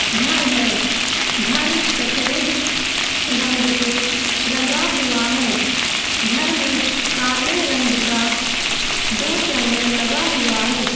घर है। घर सफ़ेद रंग से रंगा हुआ है। घर में काले रंग का दो चैनल लगा हुआ है।